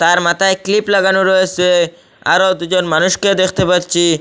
তার মাথায় ক্লিপ লাগানো রয়েসে আরও দুজন মানুষকে দেখতে পাচ্ছি।